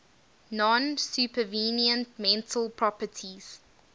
non supervenient mental properties